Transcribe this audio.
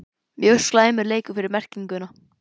Mjög slæmur leikur fær merkinguna??